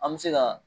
An bɛ se ka